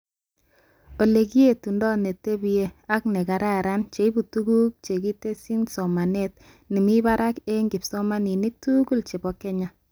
Olekiyetundoi netebich ak nekararan cheibu tuguk chekitsyi somanet nemibarakebg kipsomanink tugul chebo Kenya